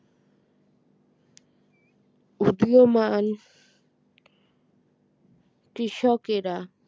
উদীয়মান কৃষকেরা